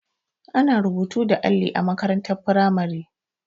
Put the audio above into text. Ana rubutu da alli a makarantar firamare.